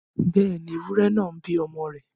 Bẹ́ẹ̀ni, ewúrẹ náà ń bí ọmọ rẹ̀